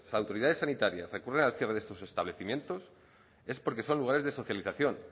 autoridades sanitarias recurren al cierre de estos establecimientos es porque son lugares de socialización